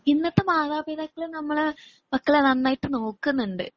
ഇന്നത്തെ മാതാപിതാക്കള് നമ്മളെ. മക്കളെ നന്നായിട്ട് നോക്കുന്നുണ്ട്